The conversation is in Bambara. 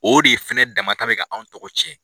O de fɛnɛ damata bi ka anw tɔgɔ cɛn